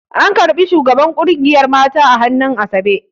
An ƙarɓi shugaban ƙungiyar mata a hannun asabe